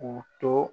K'u to